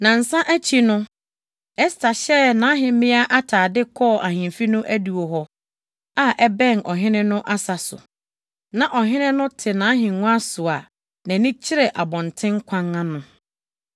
Nnansa akyi no, Ɛster hyɛɛ nʼahemmea atade kɔɔ ahemfi no adiwo hɔ a ɛbɛn ɔhene no asa so. Na ɔhene no te nʼahengua so a nʼani kyerɛ abɔnten kwan ano.